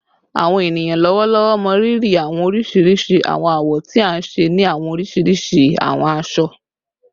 Awọn eniyan lọwọlọwọ mọrírì awọn oriṣiriṣi awọn awọ ti a nṣe ni awọn oriṣiriṣi awọn aṣọ